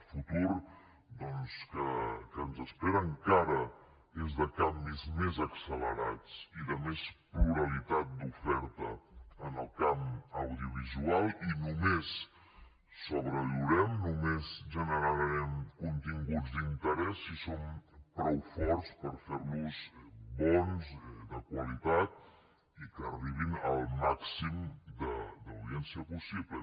el futur doncs que ens espera encara és de canvis més accelerats i de més pluralitat d’oferta en el camp audiovisual i només sobreviurem només generarem continguts d’interès si som prou forts per fer los bons de qualitat i que arribin al màxim d’audiència possible